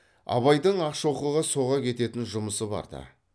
абайдың ақшоқыға соға кететін жұмысы барды